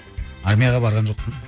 армияға барған жоқпын